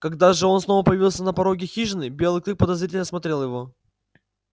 когда же он снова появился на пороге хижины белый клык подозрительно осмотрел его